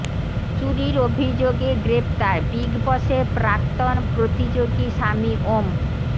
চুরির অভিযোগে গ্রেফতার বিগ বসের প্রাক্তন প্রতিযোগী স্বামী ওম